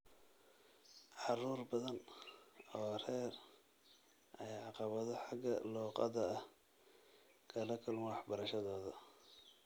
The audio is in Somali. Carruur badan oo rer ayaa caqabado xagga luqadda ah kala kulma waxbarashadooda.